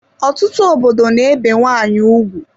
Ọtụtụ obodo n'ebe nwanyị ugwu